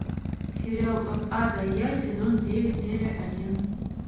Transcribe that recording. сериал от а до я сезон девять серия один